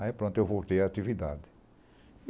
Aí pronto, eu voltei à atividade.